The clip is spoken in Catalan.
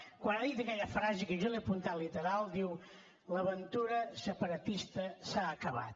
quan ha dit aquella frase que jo l’he apuntat literal diu l’aventura separatista s’ha acabat